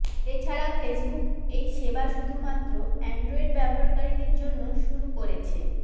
এছাড়া ফেসবুক এই সেবা শুধুমাত্র অ্যান্ড্রয়েড ব্যবহারকারীদের জন্য শুরু করে ছে